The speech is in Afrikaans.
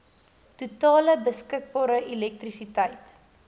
totale beskikbare elektrisiteit